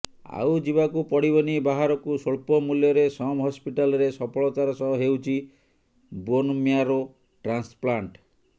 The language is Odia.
ଆଉ ଯିବାକୁ ପଡିବନି ବାହାରକୁ ସ୍ବଳ୍ପମୂଲ୍ୟରେ ସମ ହସ୍ପିଟାଲରେ ସଫଳତାର ସହ ହେଉଛି ବୋନମ୍ୟାରୋ ଟ୍ରାନ୍ସପ୍ଲାଣ୍ଟ